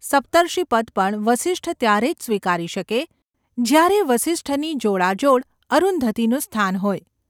સપ્તર્ષિપદ પણ વસિષ્ઠ ત્યારે જ સ્વીકારી શકે, જ્યારે વસિષ્ઠની જોડાજોડ અરુંધતીનું સ્થાન હોય.